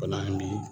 Bana bi